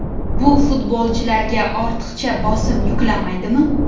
Bu futbolchilarga ortiqcha bosim yuklamaydimi?